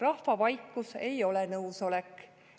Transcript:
Rahva vaikus ei ole nõusolek.